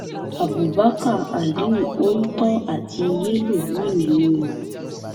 abubakar aliu oǹtò àti yẹlo wà nínú wọn